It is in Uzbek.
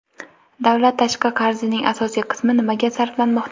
Davlat tashqi qarzining asosiy qismi nimaga sarflanmoqda?.